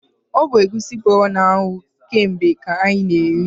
O bu egwusi kpọrọ na anwụ ke mgbe ka anyị ka na eri